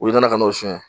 U nana ka n'o susu